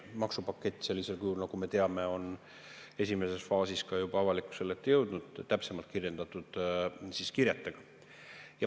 Maksupakett sellisel kujul, nagu me teame, on esimeses faasis ka juba avalikkuse ette jõudnud, täpsemate kirjetega.